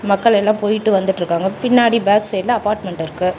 மக்கள் எல்லா போயிட்டு வந்துட்ருக்காங்க பின்னாடி பேக் சைடுல அப்பார்ட்மெண்ட் இருக்கு.